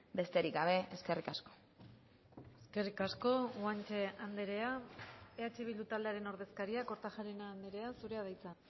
besterik gabe eskerrik asko eskerrik asko guanche andrea eh bildu taldearen ordezkaria kortajarena andrea zurea da hitza